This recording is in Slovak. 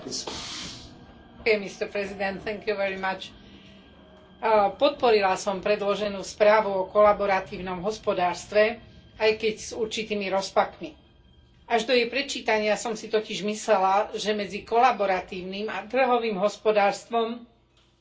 Vážený pán predseda, podporila som predloženú správu o kolaboratívnom hospodárstve, aj keď s určitými rozpakmi. Až do jej prečítania som si totiž myslela, že medzi kolaboratívnym a trhovým hospodárstvom nie je rozdiel.